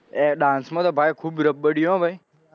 એ dance માં તો ખુબ રબ્બડીયો હો ભઈ